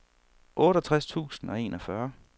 otteogtres tusind og enogfyrre